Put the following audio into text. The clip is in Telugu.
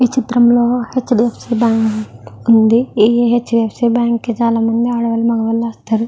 ఈ చిత్రం లో హెచ్.డి.ఎఫ్.సి. బ్యాంకు ఉంది ఈ హెచ్.డి.ఎఫ్.సి. బ్యాంకు కి చాలామంది ఆడవాళ్లు మగవాళ్లు వస్తారు.